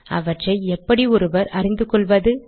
அவற்றை எப்படி ஒருவர் அறிந்துகொள்வது